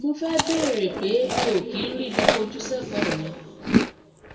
mo fẹ bèèrè pé mi ò kí ń ríbi kí ń ríbi fojú sí ẹkọ mi